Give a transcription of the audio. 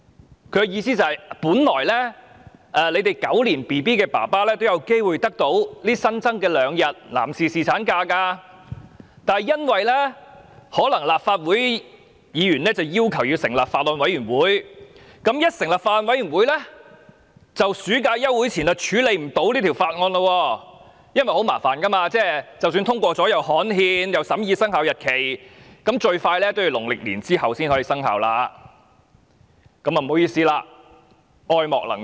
他的意思是：本來"狗年嬰兒"的父親有機會得到新增的兩天男士侍產假，但立法會議員要求成立法案委員會，一旦成立法案委員會，在暑假休會前便無法處理這項《條例草案》，因為程序非常繁複，即使通過了《條例草案》也要刊憲，亦要審議生效日期，最快也要農曆新年後才可生效；他表示不好意思，愛莫能助。